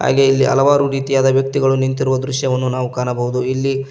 ಹಾಗೆ ಇಲ್ಲಿ ಹಲವಾರು ರೀತಿಯಾದ ವ್ಯಕ್ತಿಗಳು ನಿಂತಿರುವ ದೃಶ್ಯವನ್ನು ನಾವು ಕಾಣಬಹುದು ಇಲ್ಲಿ--